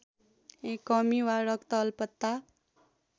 कमी वा रक्तअल्पत्ता